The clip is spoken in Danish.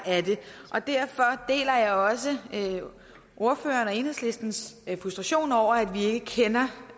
og derfor deler jeg også ordførerens og enhedslistens frustration over at vi ikke kender